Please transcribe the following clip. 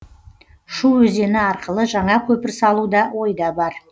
шу өзені арқылы жаңа көпір салу да ойда бар